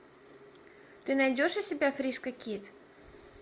ты найдешь у себя фриско кид